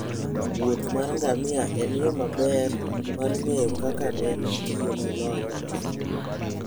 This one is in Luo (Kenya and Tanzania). wuoth mar ngamia en yo maber mar ng'eyo kaka ne itiyo gi lony machon.